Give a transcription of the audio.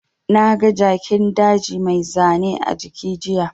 Na ga Jakin daji mai zane a jiki jiya